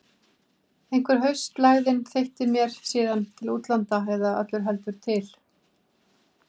Einhver haustlægðin þeytti mér síðan til útlanda- eða öllu heldur til